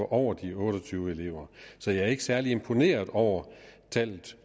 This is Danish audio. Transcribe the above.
over de otte og tyve elever så jeg er ikke særlig imponeret over tallet